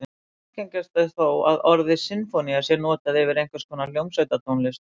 Algengast er þó að orðið sinfónía sé notað yfir einhvers konar hljómsveitartónlist.